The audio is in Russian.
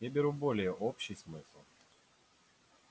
я беру более общий смысл